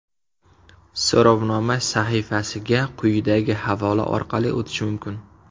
So‘rovnoma sahifasiga quyidagi havola orqali o‘tish mumkin.